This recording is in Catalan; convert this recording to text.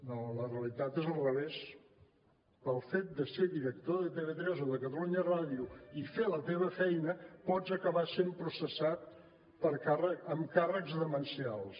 no la realitat és al revés pel fet de ser director de tv3 o de catalunya ràdio i fer la teva feina pots acabar sent processat amb càrrecs demencials